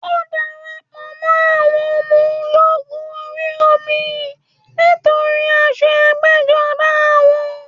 Ó darapọ̀ mọ́ àwọn ọmọ ológun orí omi nítorí aṣọ ẹgbẹ́jọdá wọn